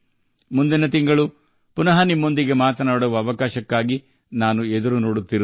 ಮುಂದಿನ ತಿಂಗಳು ನಿಮ್ಮೊಂದಿಗೆ ಮತ್ತೆ ಸಂಪರ್ಕ ಸಾಧಿಸಲು ನಾನು ಕಾಯುತ್ತಿದ್ದೇನೆ